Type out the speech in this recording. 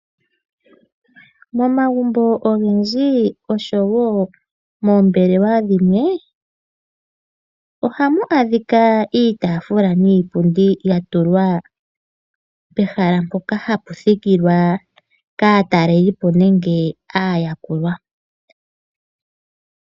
Momagumbo ogendji oshowoo oombelewa dhimwe , ohamu adhika iitaafula niipundi yatulwa pehala mpoka hapu thikile aatalelipo nenge aayakulwa.